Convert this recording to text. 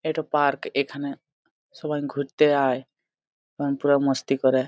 ইটা park. এখানে সবাই ঘুরতে আয় এবং পুরা মস্তি করে।